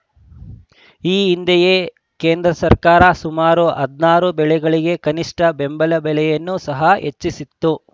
ಈ ಹಿಂದೆಯೇ ಕೇಂದ್ರ ಸರ್ಕಾರ ಸುಮಾರು ಹದನಾರು ಬೆಳೆಗಳಿಗೆ ಕನಿಷ್ಠ ಬೆಂಬಲ ಬೆಲೆಯನ್ನು ಸಹ ಹೆಚ್ಚಿಸಿತ್ತು